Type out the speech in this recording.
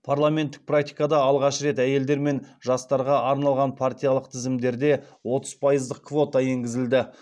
парламенттік практикада алғаш рет әйелдер мен жастарға арналған партиялық тізімдерде отыз пайыздық квота енгізілді